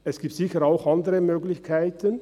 Es gibt sicher auch andere Möglichkeiten.